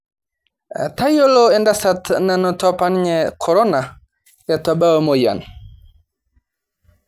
Tayiolo endasat nanoto apanye Korona eitu ebau emoyian